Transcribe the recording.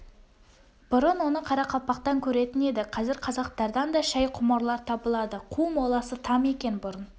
бұрын оны қарақалпақтан көретін еді қазір қазақтардан да шай құмарлар табылады қу моласы там екен бұрын